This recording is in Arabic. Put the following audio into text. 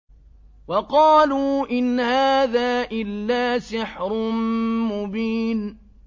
وَقَالُوا إِنْ هَٰذَا إِلَّا سِحْرٌ مُّبِينٌ